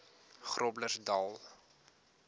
groblersdal